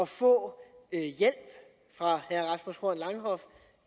få hjælp fra herre rasmus horn langhoff